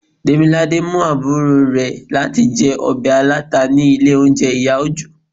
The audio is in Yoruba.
demilade mú aburo rẹ latí jẹ ọbẹ ata ni ilé oúnjẹ iya ojo